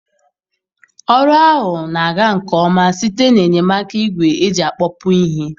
Ọrụ ahụ na-aga nke ọma site n'enyemaka igwe eji akpọpu ihe.